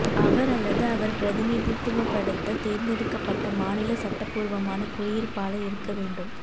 அவர் அல்லது அவர் பிரதிநிதித்துவப்படுத்த தேர்ந்தெடுக்கப்பட்ட மாநில சட்டபூர்வமான குடியிருப்பாளர் இருக்க வேண்டும்